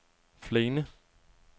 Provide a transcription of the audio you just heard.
Flaine